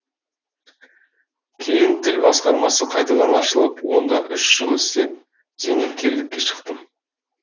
кейін тіл басқармасы қайтадан ашылып онда үш жыл істеп зейнеткерлікке шықтым